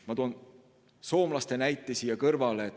Ma toon soomlaste näite siia kõrvale.